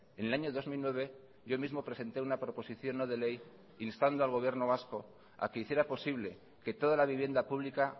en el año dos mil nueve yo mismo presenté una proposición no de ley instando al gobierno vasco a que hiciera posible que toda la vivienda pública